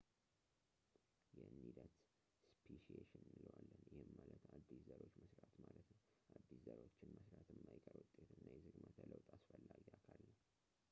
ይህንን ሂደት ስፔሺኤሽን እንለዋለን ፣ ይህም ማለት አዲስ ዘሮችን መስራት ማለት ነው። አዲስ ዘሮችን መስራት የማይቀር ውጤት እና የዝግመተ ለውጥ አስፈላጊ አካል ነው